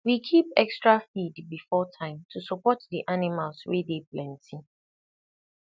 we keep extra feed before time to support the animals wey dey plenty